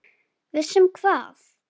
Viss um hvað?